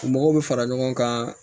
Mɔgɔw bɛ fara ɲɔgɔn kan